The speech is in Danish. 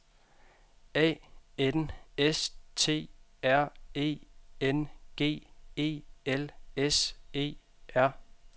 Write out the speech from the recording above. A N S T R E N G E L S E R